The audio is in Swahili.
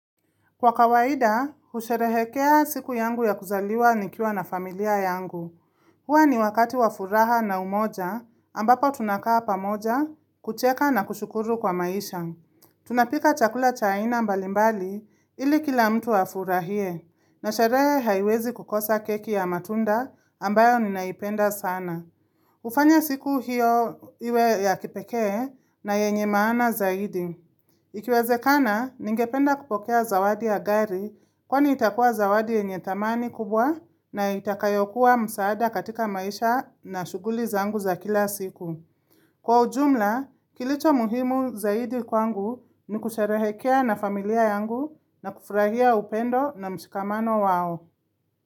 Kwa kawaida, husherehekea siku yangu ya kuzaliwa nikiwa na familia yangu. Huwa ni wakati wafuraha na umoja, ambapo tunakaa pamoja, kucheka na kushukuru kwa maisha. Tunapika chakula cha aina mbalimbali, ili kila mtu afurahie, na sherehe haiwezi kukosa keki ya matunda ambayo ninaipenda sana. Hufanya siku hiyo iwe ya kipekee na yenye maana zaidi. Ikiwezekana, ningependa kupokea zawadi ya gari kwani itakuwa zawadi yenye thamani kubwa na itakayokuwa msaada katika maisha na shughuli zangu za kila siku. Kwa ujumla, kilichomuhimu zaidi kwangu ni kusherehekea na familia yangu na kufurahia upendo na mshikamano wao.